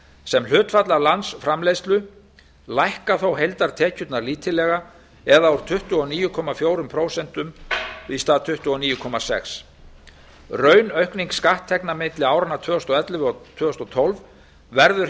sem hlutfall af landsframleiðslu hækka þetta er rétt heildartekjurnar lítillega úr tuttugu og níu komma fjögur prósent í tuttugu og níu komma sex prósent raunaukning skatttekna milli áranna tvö þúsund og ellefu og tvö þúsund og tólf verður